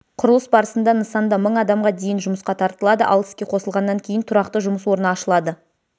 құрылыс барысында нысанда мың адамға дейін жұмысқа тартылады ал іске қосылғаннан кейін тұрақты жұмыс орны ашылады